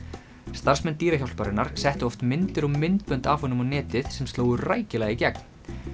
starfsmenn settu oft myndir og myndböndum af honum á netið sem slógu rækilega í gegn